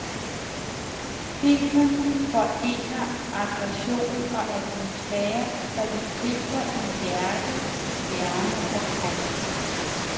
Filmen forener aggression og atmosfære, så det gibber i hjerte, hjerne og krop.